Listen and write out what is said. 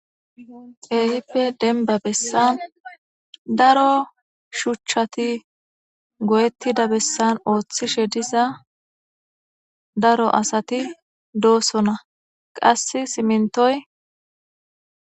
Keehippe dembba bessan daroo shuuchchati gooyettida bessan oothtishe diza daro asati dossona qase simmonttoy dees